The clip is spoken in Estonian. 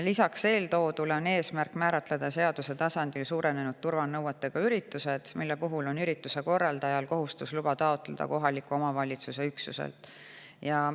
Lisaks eeltoodule on eesmärk määratleda seaduse tasandil suurenenud turvanõuetega üritused, mille puhul on ürituse korraldajal kohustus kohaliku omavalitsuse üksuselt luba taotleda.